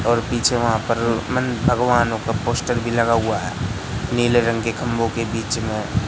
और पीछे वहां पर मन भगवानों का पोस्टर भी लगा हुआ है नीले रंग के खंबो के बीच में--